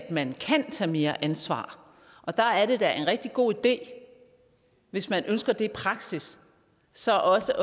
at man kan tage mere ansvar og der er det da en rigtig god idé hvis man ønsker det i praksis så også